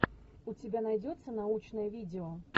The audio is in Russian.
у тебя найдется научное видео